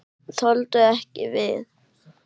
Þoldu ekki við.